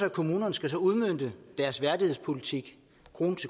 at kommunerne skal udmønte deres værdighedspolitik